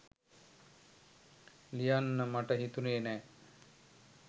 ලියන්න මට හිතුනෙ නෑ.